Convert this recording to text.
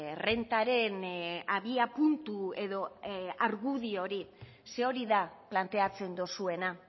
errentaren abiapuntu edo argudio hori zeren hori da planteatzen duzuena